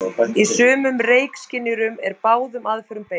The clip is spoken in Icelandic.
Í sumum reykskynjurum er báðum aðferðum beitt.